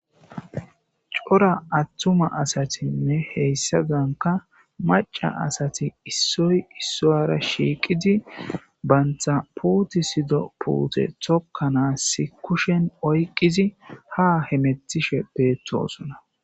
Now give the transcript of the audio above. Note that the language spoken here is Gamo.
Cora atuma asatinne hesadanka maca asat issoy isuwara shiqid banta putisido puute tokanas kushen oykid ha hemetishe betosona.